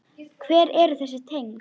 Hver eru þessi tengsl?